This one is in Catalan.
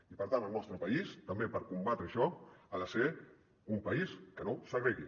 i per tant el nostre país també per combatre això ha de ser un país que no segregui